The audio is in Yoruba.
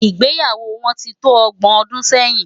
Igbéyáwò wòn ti tó ògbòn òdún sèyin